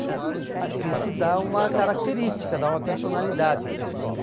Acho que isso dá uma característica, dá uma personalidade para a escola.